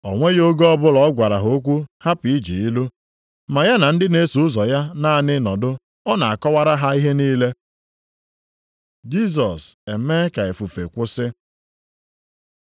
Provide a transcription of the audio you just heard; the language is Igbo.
O nweghị oge ọbụla ọ gwara ha okwu hapụ iji ilu. Ma ya na ndị na-eso ụzọ ya naanị nọdụ, ọ na-akọwara ha ihe niile. Jisọs emee ka ifufe kwụsị